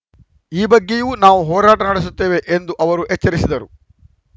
ಈ ಬಗ್ಗೆಯೂ ನಾವು ಹೋರಾಟ ನಡೆಸುತ್ತೇವೆ ಎಂದು ಅವರು ಎಚ್ಚರಿಸಿದರು